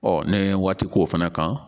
ne ye waati k'o fana kan